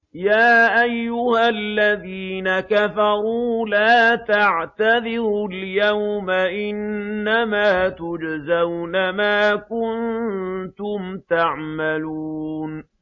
يَا أَيُّهَا الَّذِينَ كَفَرُوا لَا تَعْتَذِرُوا الْيَوْمَ ۖ إِنَّمَا تُجْزَوْنَ مَا كُنتُمْ تَعْمَلُونَ